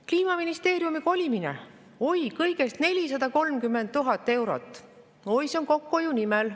Kliimaministeeriumi kolimine: oi, kõigest 430 000 eurot, oi, see on kokkuhoiu nimel.